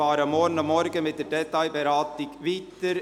Wir fahren morgen mit der Detailberatung weiter.